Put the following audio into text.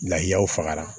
Lahaw fagara